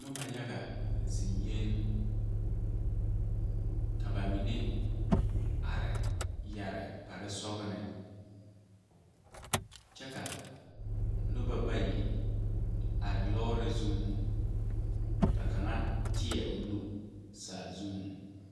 Noba yaga zeŋɛɛ ka ba mine are yɛre kparesɔglɔ kyɛ ka noba bayi are lɔɔre zuŋ ka kaŋa teɛ o nu saa zuŋ.